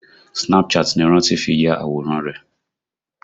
Snapchat ni Rántí fi ya àwòrán rẹ̀